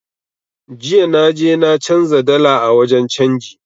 Jiya na je na canza dala a wajen canji